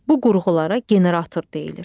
Bu qurğulara generator deyilir.